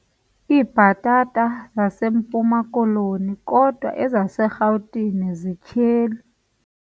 Iibhatata zaseMpuma-Koloni kodwa ezaseRhawutini zityheli.